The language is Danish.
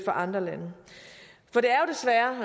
andre lande